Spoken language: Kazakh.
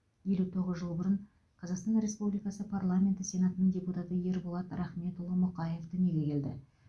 елу тоғыз жыл бұрын қазақстан республикасы парламенті сенатының депутаты ерболат рахметұлы мұқаев дүниеге келді